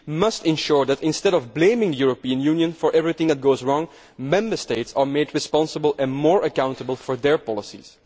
We must ensure that, instead of blaming the European Union for everything that goes wrong, Member States are made responsible and more accountable for their policies.